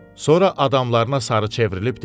Sonra adamlarına sarı çevrilib dedi: